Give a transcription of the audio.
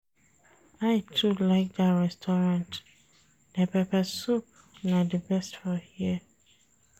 I too like dat restaurant, their pepper soup na di best for here.